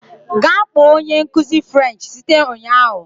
Gaa kpọọ onye nkuzi French site ụnyahụ